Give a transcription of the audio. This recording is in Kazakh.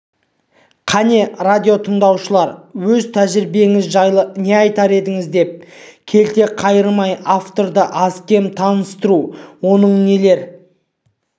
қане радиотыңдаушыға өз тәжірибеңіз жайлы не айтар едіңіз деп келте қайырмай авторды аз-кем таныстыру оның нелер